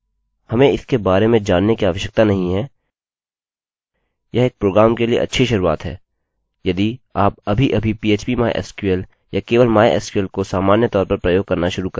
बल्कि मेरे सर्वर में my sql सर्वर में यह हमारी टेबल की सूचना हमारे डेटाबेस की सूचना और मेरे सर्वर के बारे में सूचना इत्यादि देता है